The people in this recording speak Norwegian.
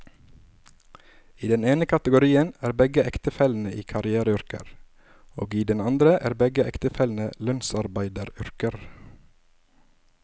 I den ene kategorien er begge ektefellene i karriereyrker, og i den andre er begge ektefellene i lønnsarbeideryrker.